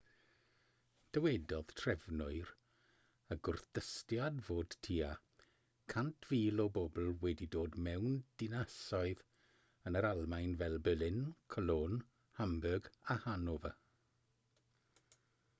dywedodd trefnwyr y gwrthdystiad fod tua 100,000 o bobl wedi dod mewn dinasoedd yn yr almaen fel berlin cologne hamburg a hanover